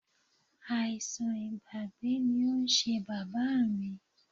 Àìsàn ìgbàgbé ni ó ń ṣe Bàbá mi.